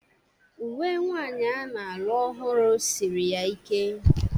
Uwe nwanyi a na-alụ ọhụrụ siri ya ike.